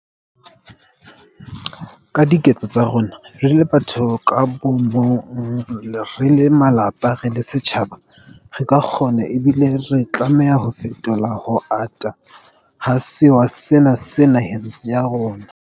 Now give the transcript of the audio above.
Ka diketso tsa rona, re le batho ka bomong, re le malapa, re le setjhaba, re ka kgona ebile re tlameha ho fetola ho ata ha sewa sena naheng ya rona.